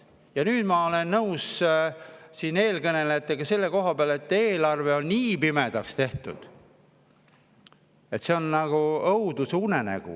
Ja nüüd ma olen nõus eelkõnelejatega selle koha pealt, et eelarve on nii pimedaks tehtud, et see on nagu õudusunenägu.